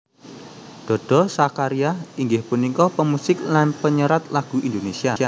Dodo Zakaria inggih punika pemusik lan penyerat lagu Indonesia